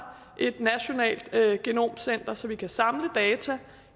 et nationalt genomcenter så vi kan samle data